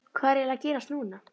Hvað er eiginlega að gerast núna?